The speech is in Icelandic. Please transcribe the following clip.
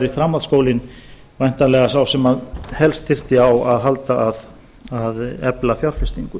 framhaldsskólinn væntanlega sá sem helst þyrfti á að halda að efla fjárfestingu